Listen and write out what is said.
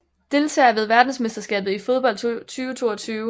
Deltagere ved verdensmesterskabet i fodbold 2022